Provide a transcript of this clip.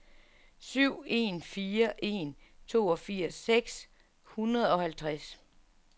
syv en fire en toogfirs seks hundrede og halvtreds